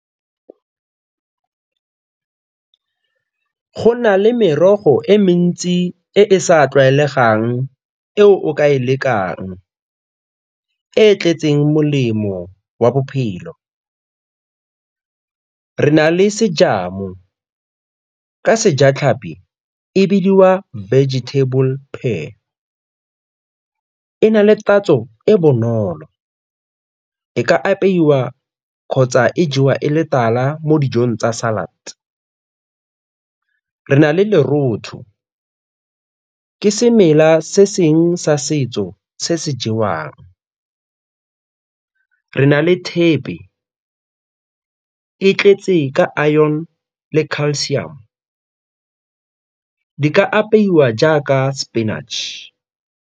Go na le merogo e mentsi e e sa tlwaelegang eo o ka e lekang, e e tletseng molemo wa bophelo. Re na le ka sejatlhapi e bidiwa vegetable pair, e na le tatso e bonolo, e ka apeiwa kgotsa e jewa e le tala mo dijong tsa salad. Re na le le lerotho, ke semela se seng sa setso se se jewang. Re na le thepe, e tletse ka iron le calcium, di ka apeiwa jaaka spinach.